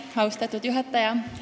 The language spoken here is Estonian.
Austatud juhataja!